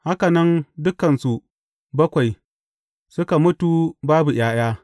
Haka nan dukansu bakwai suka mutu babu ’ya’ya.